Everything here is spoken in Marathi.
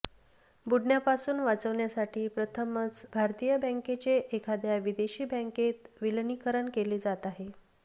बुडण्यापासून वाचवण्यासाठी प्रथमच भारतीय बँकचे एखाद्या विदेशी बँकेत विलीनीकरण केले जात आहे